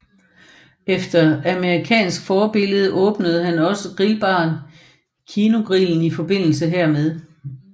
Efter amerikansk forbillede åbnede han også grillbaren Kinogrillen i forbindelse hermed